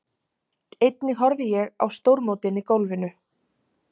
Einnig horfi ég á stórmótin í golfinu.